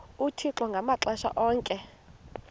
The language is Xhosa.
uthixo ngamaxesha onke